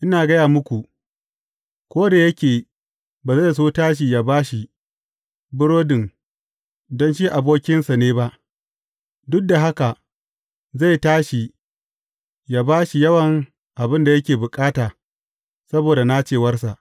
Ina gaya muku, ko da yake ba zai so ya tashi ya ba shi burodin don shi abokinsa ne ba, duk da haka, zai tashi ya ba shi yawan abin da yake bukata, saboda nacewarsa.